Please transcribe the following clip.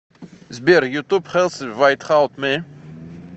сбер ютуб хэлси вайтхаут ми